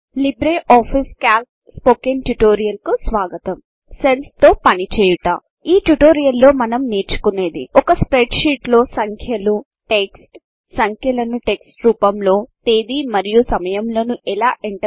Libre office Calc spoken tutorial కు స్వగతం cells తో పనిచేయుట ఈ ట్యుటోరియల్లో మనం నేర్చుకునేది ఒక స్ప్రెడ్షీటు లో సంఖ్యలు టెక్స్ట్ సంఖ్యలను టెక్స్ట్ రూపంలో తేదీ మరియు సమయములను ఎలా ఎంటర్చేయాలి